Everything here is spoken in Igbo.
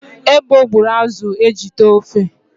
Ebo gbụrụ azụ e ji tee ofe